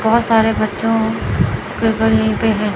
बहुत सारे बच्चों के घर यही पे हैं।